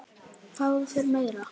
Fáðu þér meira!